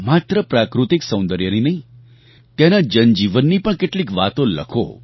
માત્ર પ્રાકૃતિક સૌંદર્યની નહીં ત્યાંના જનજીવનની પણ કેટલીક વાતો લખો